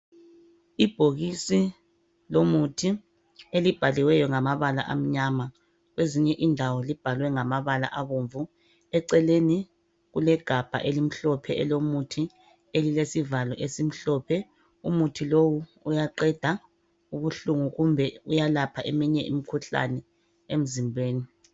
Ibhokisi lomuthi elibhaliweyo ngamabala amnyama ,kwezinye indawo libhalwe ngamabala abomvu . Eceleni kulegabha elimhlophe elomuthi ,elilesivalo esimhlophe. Umuthi lowu uyaqeda ubuhlungu kumbe uyelapha eminye imikhuhlane emzimbeni.